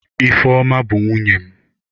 Ifeoma bu nwunye m.